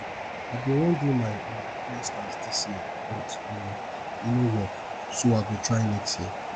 i bin wan do my um masters dis year but um e no work so i go try next year